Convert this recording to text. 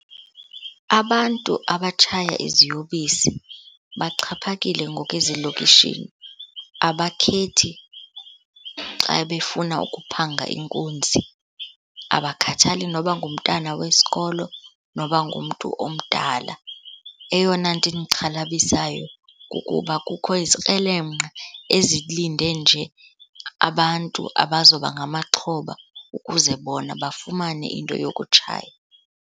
Abantu abatshaya iziyobisi baxhaphakile ngoku ezilokishini. Abakhethi xa befuna ukuphanga inkunzi, abakhathali noba ngumtana wesikolo, noba ngumntu omdala. Eyona nto indixhalabisayo kukuba kukho izikrelemnqa ezilinde nje abantu abazoba ngamaxhoba ukuze bona bafumane into yokutshaya.